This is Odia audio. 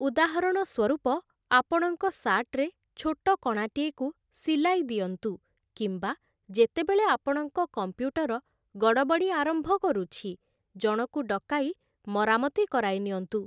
ଉଦାହରଣ ସ୍ୱରୂପ, ଆପଣଙ୍କ ସାର୍ଟରେ ଛୋଟ କଣାଟିଏକୁ ସିଲାଇ ଦିଅନ୍ତୁ, କିମ୍ବା ଯେତେବେଳେ ଆପଣଙ୍କ କମ୍ପ୍ୟୁଟର ଗଡ଼ବଡ଼ି ଆରମ୍ଭ କରୁଛି, ଜଣକୁ ଡକାଇ ମରାମତି କରାଇନିଅନ୍ତୁ ।